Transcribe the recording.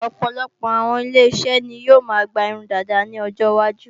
Ọ̀pọ̀lọpọ̀ àwọn ile-iṣẹ́ ni yóò máa gba irun dàda ní ọjọ iwájú